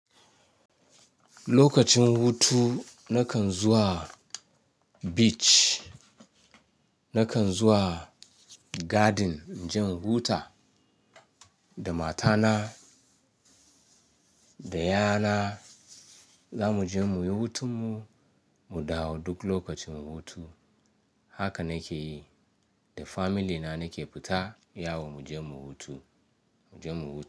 Lokacin hutu nakan zuwa beach, nakan zuwa garden. In je in huta da matana da 'ya'yana za mu je muyi hutun mu, mu dawo duk lokacin hutu. Haka na ke yi, da family na na ke fita yawo mu je mu hutu, mu je mu huta.